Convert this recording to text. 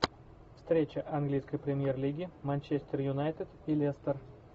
встреча английской премьер лиги манчестер юнайтед и лестер